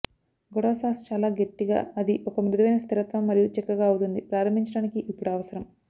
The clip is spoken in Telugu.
గొడవ సాస్ చాలా గట్టిగా అది ఒక మృదువైన స్థిరత్వం మరియు చిక్కగా అవుతుంది ప్రారంభించడానికి ఇప్పుడు అవసరం